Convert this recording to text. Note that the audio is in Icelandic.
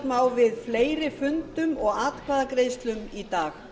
má við fleiri fundum og atkvæðagreiðslum í dag